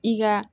I ka